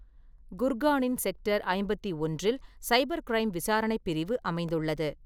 குர்கானின் sector ஐம்பத்தி ஒன்றில் cyber crime விசாரணை பிரிவு அமைந்துள்ளது.